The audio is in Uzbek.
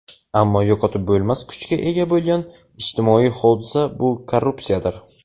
ammo yo‘qotib bo‘lmas kuchga ega bo‘lgan ijtimoiy hodisa – bu korrupsiyadir.